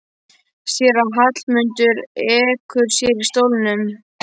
Sér að Hallmundur ekur sér í stólnum.